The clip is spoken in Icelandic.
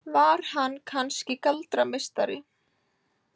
Var hann kannski galdrameistari?